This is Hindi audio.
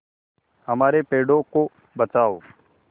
हमारे पेड़ों को बचाओ